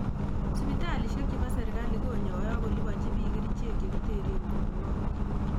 Sipitalisiek cho mobo serikali ko nyoe ak kolipanchi biik kerichek chekitern myonwokik